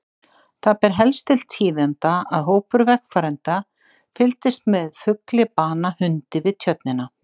Það ber helst til tíðinda að hópur vegfarenda fylgdist með fugli bana hundi við Tjörnina.